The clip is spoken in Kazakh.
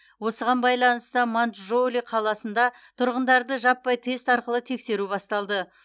осыған байланысты маньчжоули қаласында тұрғындарды жаппай тест арқылы тексеру басталды